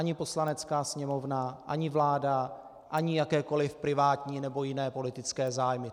Ani Poslanecká sněmovna ani vláda ani jakékoli privátní nebo jiné politické zájmy.